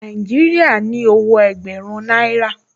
Nàìjíríà ní owó ẹgbẹ̀rún náírà